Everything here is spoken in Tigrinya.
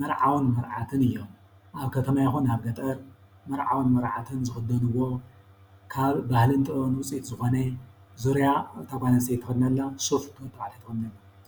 መርዓውን መርዓትን እዮም። ኣብ ከተማ ይኩን ኣብ ገጠር መርዓወን መርዓትን ዝኽደንዎ ካብ ባህልን ጥበብን ውፅኢት ዝኾነ ዙርያ እታ ጓል ኣንስተይቲ ትኸደኖላ ሱፍ እቲ ወዲ ተባዕታይ ትኽድኖላ።